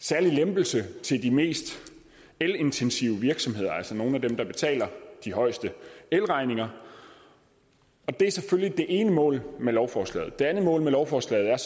særlig lempelse til de mest elintensive virksomheder altså nogle af dem der betaler de højeste elregninger og det er selvfølgelig det ene mål med lovforslaget det andet mål med lovforslaget